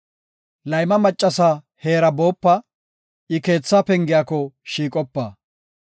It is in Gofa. Layma maccasa heera boopite; I keetha pengiyako shiiqopite.